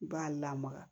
I b'a lamaga